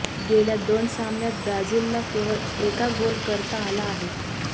गेल्या दोन सामन्यात ब्राझीलला केवळ एका गोल करता आला आहे